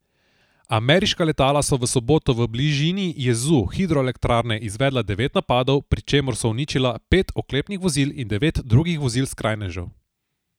Ameriška letala so v soboto v bližini jezu hidroelektrarne izvedla devet napadov, pri čemer so uničila pet oklepnih vozil in devet drugih vozil skrajnežev.